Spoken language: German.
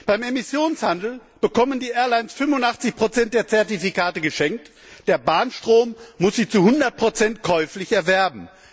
Beim Emissionshandel bekommen die Fluggesellschaften 85 der Zertifikate geschenkt, der Bahnstrom muss sie zu hundert Prozent käuflich erwerben.